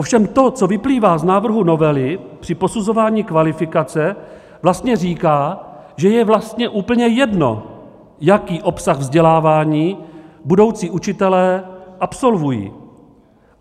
Ovšem to, co vyplývá z návrhu novely, při posuzování kvalifikace vlastně říká, že je vlastně úplně jedno, jaký obsah vzdělávání budoucí učitelé absolvují.